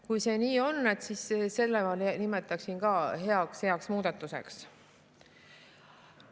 Kui see nii on, siis seda ma nimetaksin ka heaks muudatuseks.